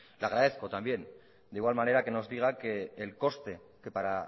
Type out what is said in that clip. le agradezco también de igual manera que nos diga que el coste que para